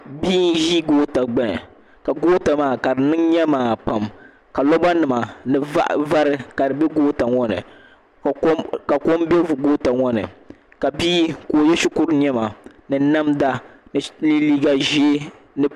bia n-ʒi goota gbuni ka goota maa ka di niŋ nyemaa pam ka loba nima vari ka di be goota ŋɔ ni ka kom be goota ŋɔ ni ka bia ka ye shikuru nɛma ni namda ni liiga ʒee ni